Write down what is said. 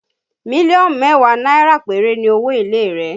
Million mẹ́wàá náírà péré ni owó èlé rẹ̀